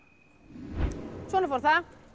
svona fór það